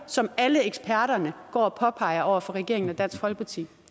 som alle eksperterne går og påpeger over for regeringen og dansk folkeparti